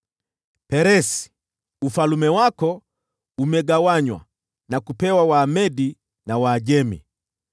Peresi : Ufalme wako umegawanywa na kupewa Wamedi na Waajemi.”